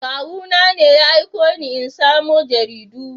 Kawuna ne ya aiko ni in samo jaridu.